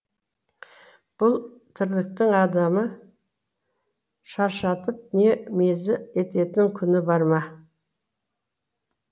бұл тірліктің адамы шаршатып не мезі ететін күні бар ма